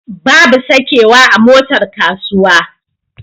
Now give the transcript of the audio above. Babu sakewa a motar kasuwa.